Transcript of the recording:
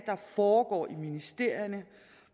foregår i ministerierne